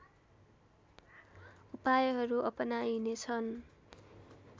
उपायहरू अपनाइनेछन्